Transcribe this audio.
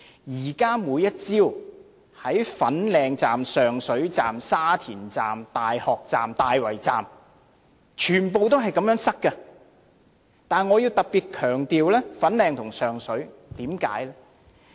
現在每天早上的粉嶺站、上水站、沙田站、大學站、大圍站，全部都是這麼擠塞，但我要特別強調粉嶺和上水。